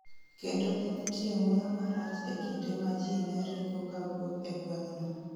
kendo ne nitie muya marach e kinde ma jii ne ringo kawuok e gweng'no